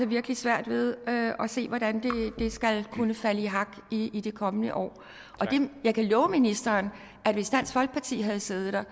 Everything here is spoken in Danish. virkelig svært ved at se hvordan det skal kunne falde i hak i i det kommende år og jeg kan love ministeren at hvis dansk folkeparti havde siddet der